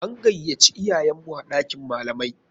An gayaci iyayenmu a ɗakin malamai.